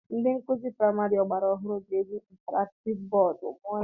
Ndị nkụzi praimari ọgbara ọhụrụ ga-eji intaraktiv bọọdụ mụọ ya.